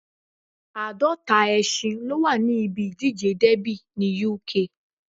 Àádọ́ta ẹṣin ló wà ní ibi ìdíje dẹ́bì ní Uk